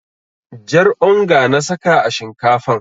Jar onga na saka a shinkafan.